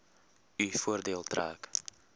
u voordeel trek